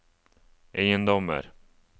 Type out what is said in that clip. eiendommer